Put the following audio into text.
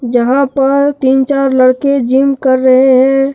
जहां पर तीन चार लड़के जिम कर रहे हैं।